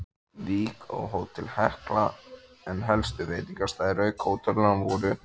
Vík og Hótel Hekla, en helstu veitingastaðir auk hótelanna voru